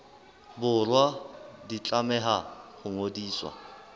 borwa di tlameha ho ngodiswa